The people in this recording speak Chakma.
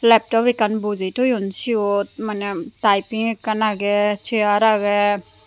laptop ekkan bojey toyon siyot maneh taiping ekkan agey chair agey.